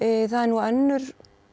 önnur